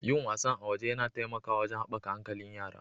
Yin wasannn a waje yana taimakawa wajen haɓaka hankalin yara.